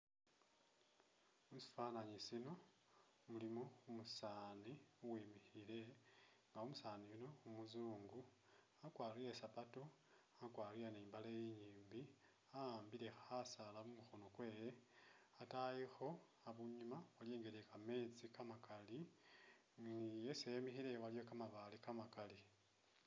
Musifananyi sino mulimo umusani uwimikhile nga umusani yuuno umuzungu wakwarile ni sapatu, wakwarile ni mbaale inyimbi waambile ni Khasala mukhono mwewe ataayikho abunyuma iliwo ingeli ye'kametsi kamakali ne isi emile aliwo kamabale kamakali